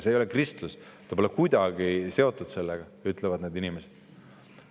See ei ole kristlus, see pole kuidagi seotud sellega, nagu ütlevad need inimesed.